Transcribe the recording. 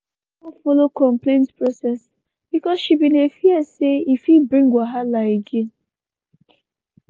she no wan follow complaint process bcoz she bin dey fear say e fit bring wahala again.